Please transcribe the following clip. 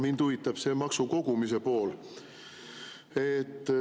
Mind huvitab see maksukogumise pool.